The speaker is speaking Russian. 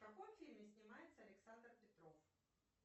в каком фильме снимается александр петров